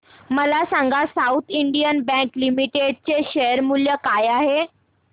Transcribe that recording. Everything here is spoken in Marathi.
मला सांगा साऊथ इंडियन बँक लिमिटेड चे शेअर मूल्य काय आहे